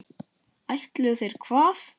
Ætluðu þeir hvað?